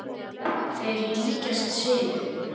Þær líkjast sinu.